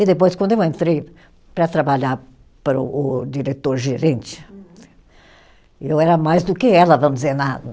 E depois, quando eu entrei para trabalhar para o o diretor-gerente, eu era mais do que ela, vamos dizer na